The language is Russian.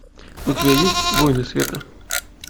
у тебя есть воины света